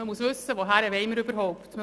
Man muss wissen, wohin man überhaupt will.